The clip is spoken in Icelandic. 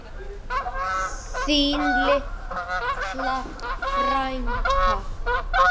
Þín litla frænka.